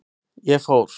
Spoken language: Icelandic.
Ég fór.